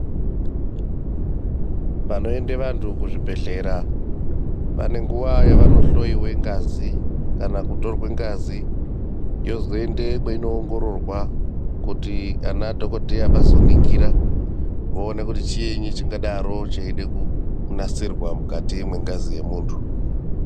Paanoende vantu kuzvibhedhlera, pane nguva yavanohloiwe ngazi, kana kutorwe ngazi ,yozoende kweinoongororwa kuti anadhokodhera vazoningira, voone kuti chiini chingadaro cheide kunasirwa mukati mwengazi yemuntu.